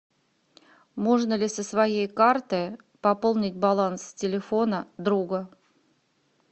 можно ли со своей карты пополнить баланс телефона друга